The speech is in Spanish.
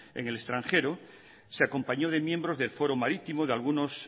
en el extranjero se acompañó de miembros del foro marítimo de algunos